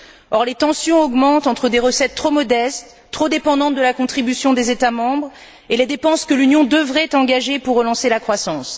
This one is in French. Or, les tensions augmentent entre des recettes trop modestes, trop dépendantes de la contribution des États membres et les dépenses que l'Union devrait engager pour relancer la croissance.